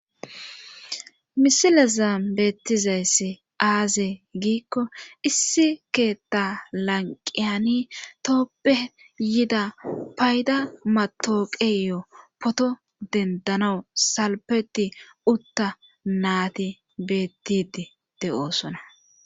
misile zaam beettizayssi aaze giikko issi keetta lanqiyani tooppe yida payda matooqeyo poto dendanawu salpeti utta naati beettidi de7oosona